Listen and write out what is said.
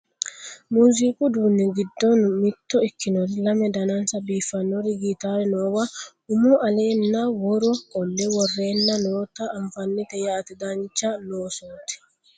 muziqu uduunni giddo mitto ikkinori lame danansa biiffannori gitaare noowa umo alenna woro qolle worreenna noota anfannite yaate dancha losooti